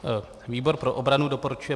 Výbor pro obranu doporučuje